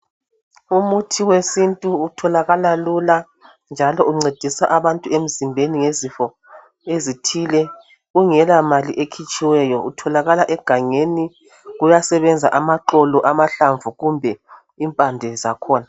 Umuthi wesintu utholakala lula njalo uncedisa abantu emzimbeni ngezifo ezithile kungela mali ekhitshiweyo utholakala egangeni kuyasebenza amaxolo, amahlamvu kumbe impande zakhona.